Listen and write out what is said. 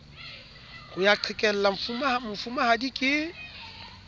ho ya qhekella mofumahadi ke